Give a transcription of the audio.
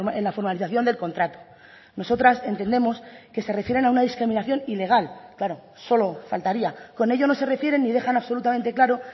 en la formalización del contrato nosotras entendemos que se refieren a una discriminación ilegal claro solo faltaría con ello no se refiere ni dejan absolutamente claro